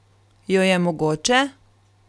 Jo je mogoče?